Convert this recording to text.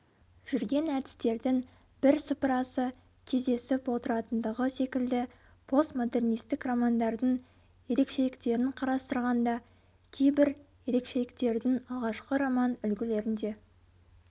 жүрген әдістердің бір сыпырасы кездесіп отыратындығы секілді постмодернистік романдардың ерекшеліктерін қарастырғанда кейбір ерекшеліктердің алғашқы роман үлгілерінде